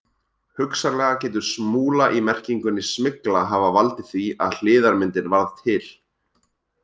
Hugsanlega getur smúla í merkingunni smygla hafa valdið því að hliðarmyndin varð til.